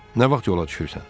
Nə vaxt yola düşürsən?